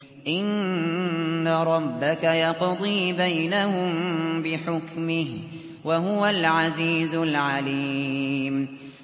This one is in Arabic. إِنَّ رَبَّكَ يَقْضِي بَيْنَهُم بِحُكْمِهِ ۚ وَهُوَ الْعَزِيزُ الْعَلِيمُ